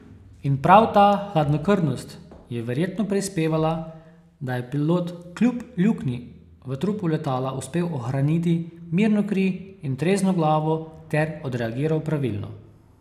In prav ta hladnokrvnost je verjetno prispevala, da je pilot kljub luknji v trupu letala uspel ohraniti mirno kri in trezno glavo ter odreagiral pravilno.